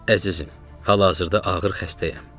Əzizim, hal-hazırda ağır xəstəyəm.